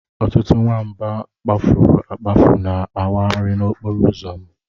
Ọtụtụ nwamba kpafuru akpafu na-awagharị n'okporo ụzọ m.